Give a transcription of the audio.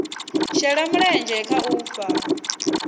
shela mulenzhe kha u fhaa